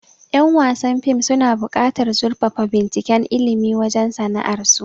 Yan wasan fim suna bukatar zurfafa binciken ilmi wajen sana'ar su